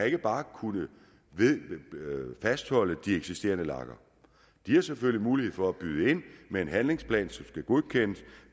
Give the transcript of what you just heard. ikke bare kunne fastholde de eksisterende lagere de har selvfølgelig mulighed for at byde ind med en handlingsplan som skal godkendes